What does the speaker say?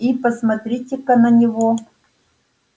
и посмотрите-ка на него